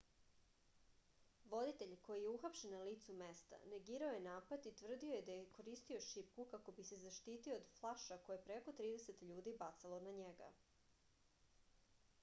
voditelj koji je uhapšen na licu mesta negirao je napad i tvrdio je da je koristio šipku kako bi se zaštitio od flaša koje je preko trideset ljudi bacalo na njega